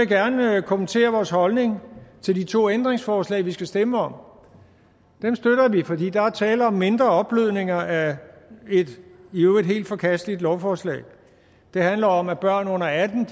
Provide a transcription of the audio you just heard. gerne kommentere vores holdning til de to ændringsforslag vi skal stemme om dem støtter vi fordi der er tale om mindre opblødninger af et i øvrigt helt forkasteligt lovforslag det handler om at børn under atten